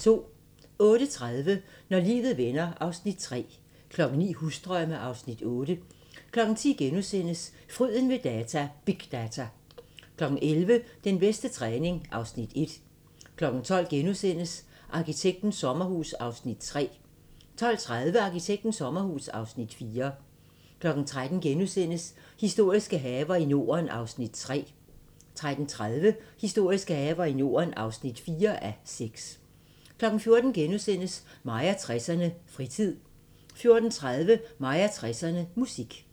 08:30: Når livet vender (Afs. 3) 09:00: Husdrømme (Afs. 8) 10:00: Fryden ved data – big data! * 11:00: Den bedste træning (Afs. 1) 12:00: Arkitektens sommerhus (Afs. 3)* 12:30: Arkitektens sommerhus (Afs. 4) 13:00: Historiske haver i Norden (3:6)* 13:30: Historiske haver i Norden (4:6) 14:00: Mig og 60'erne: Fritid * 14:30: Mig og 60'erne: Musik